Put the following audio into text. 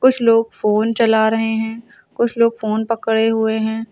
कुछ लोग फोन चला रहे हैं कुछ लोग फोन पकड़े हुए हैं।